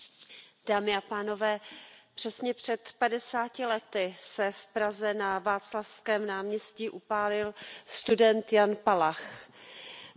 Paní předsedající, přesně před padesáti lety se v Praze na Václavském náměstí upálil student Jan Palach. Bylo to